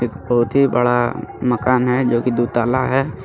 बहुत ही बड़ा मकान है जोकि दो है.